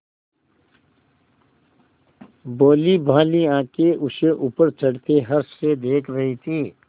भोलीभाली आँखें उसे ऊपर चढ़ते हर्ष से देख रही थीं